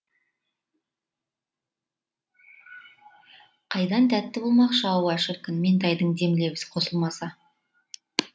қайдан тәтті болмақшы ауа шіркін меңтайдың дем лебізі қосылмаса